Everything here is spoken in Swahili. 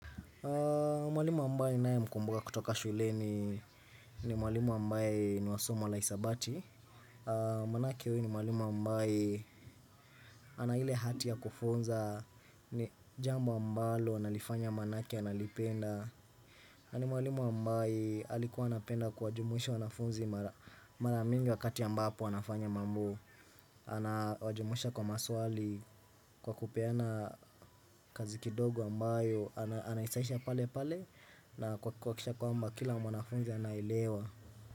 Mwalimu ambaye nae mkumbuka kutoka shuleni ni mwalimu ambaye niwasomo hisabati Manake huyu ni mwalimu ambaye ana ile hati ya kufunza ni jambo ambalo analifanya manake analipenda nani mwalimu ambaye alikuwa anapenda kuwa jumuhisha wanafunzi mara mingi katia mbapo wanafanya mambo ana wajumusha kwa maswali kwa kupeana kazi kidogo ambayo anaisaisha pale pale na kuhakikisha kwamba kila mwanafunzi anaelewa.